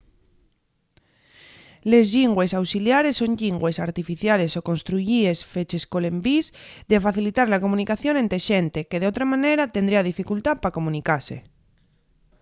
les llingües auxiliares son llingües artificiales o construyíes feches col envís de facilitar la comunicación ente xente que d'otra manera tendría dificultá pa comunicase